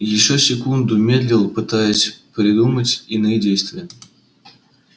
и ещё секунду медлил пытаясь придумать иные действия